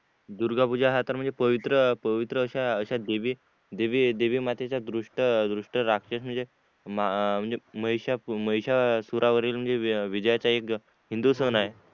दुर्गा पूजा तर म्हणजे पवित्र पवित्र अशा अशा देवी देवी मातेच्या दृष्ट दृष्ट राक्षस म्हणजे हम्म म्हणजे महिषा अह महिषासुरा वरील म्हणजे विजयाचा एक हिंदू सण आहे